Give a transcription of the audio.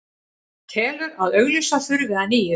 Telur að auglýsa þurfi að nýju